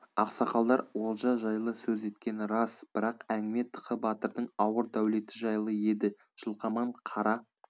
ақсақалдар олжа жайлы сөз еткені рас бірақ әнгіме тықы батырдың ауыр дәулеті жайлы еді жылқаман қара